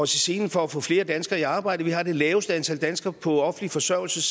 selen for at få flere danskere i arbejde vi har det laveste antal danskere på offentlig forsørgelse